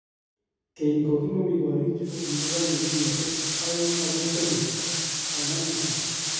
Keny kokimomi korichu kokikokonye kenyishek aeng akoi somok kamwa DK